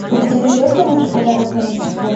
у тебя найдется лучший подарок на рождество